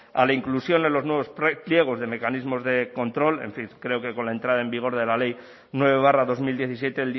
a la inclusión en los nuevos pliegos de mecanismos de control en fin creo que con la entrada en vigor de la ley nueve barra dos mil diecisiete